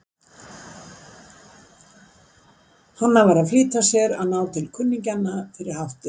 Hann var að flýta sér að ná til kunningjanna fyrir háttinn.